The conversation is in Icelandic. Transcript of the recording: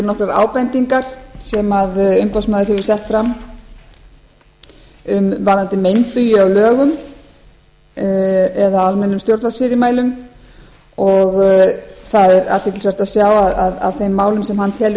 nokkrar ábendingar sem umboðsmaður hefur sett fram varðandi meinbugi á lögum eða almennum stjórnarfyrirmælum það er athyglisvert að sjá að af þeim málum sem hann telur